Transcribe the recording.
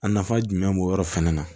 A nafa jumɛn b'o yɔrɔ fɛnɛ na